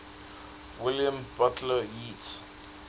william butler yeats